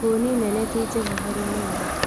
Huni nene ti njega harĩ mwĩrĩ